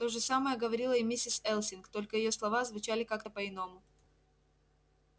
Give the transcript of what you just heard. то же самое говорила и миссис элсинг только её слова звучали как-то по-иному